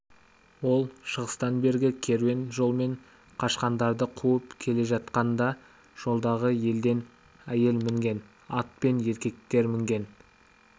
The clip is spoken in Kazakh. ол шыңғыстан бергі керуен жолымен қашқындарды қуып келе жатқанда жолдағы елден әйел мінген ат пен еркектер мінген